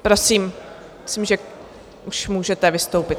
Prosím, myslím, že už můžete vystoupit.